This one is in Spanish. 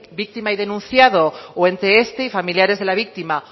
víctima y denunciado o entre este y familiares de la víctima